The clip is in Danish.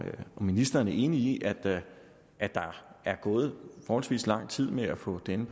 ministeren er enig i at der er gået forholdsvis lang tid med at få denne